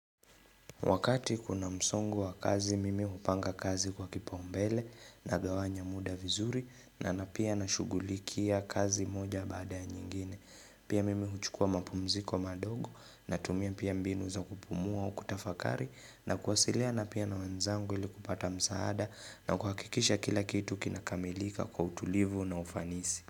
Wakati kuna msongo wa kazi mimi hupanga kazi kwa kipaombele nagawanya muda vizuri na na pia nashughulikia kazi moja baada ya nyingine. Pia mimi huchukua mapumziko madogo natumia pia mbinu za kupumua au kutafakari na kuwasiliana pia na wenzangu ili kupata msaada na kuhakikisha kila kitu kinakamilika kwa utulivu na ufanisi.